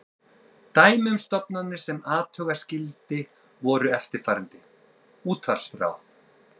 Dæmi um stofnanir sem athuga skyldi voru eftirfarandi: Útvarpsráð